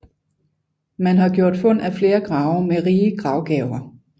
Man har gjort fund af flere grave med rige gravgaver